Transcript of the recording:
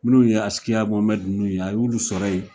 Minnu ye Askia Mohamɛd nunnu ye a y'olu sɔrɔ ye